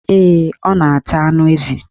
Ee, ọ na-ata anụ ezi